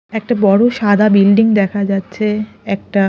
একটা বড়ো সাদা বিল্ডিং দেখা যাচ্ছে একটা--